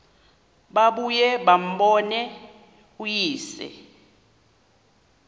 babuye bambone uyise